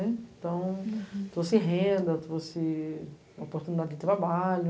Então, você tem renda, você tem oportunidade de trabalho.